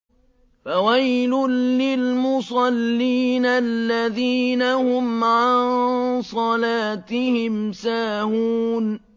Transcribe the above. الَّذِينَ هُمْ عَن صَلَاتِهِمْ سَاهُونَ